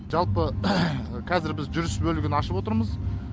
жалпы қазір біз жүріс бөлігін ашып отырмыз